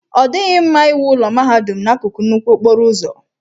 Ọ dịghị mma iwu ụlọ mahadum n'akụkụ nnukwu okporo ụzọ.